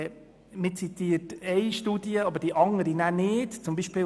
Weiter zitiert man nur die eine Studie.